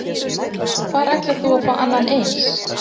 Hvar ætlar þú að fá annan eins?